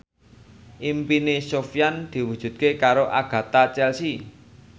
impine Sofyan diwujudke karo Agatha Chelsea